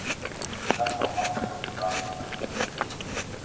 Kata og Magga sátu saman á næsta borði og brostu breitt.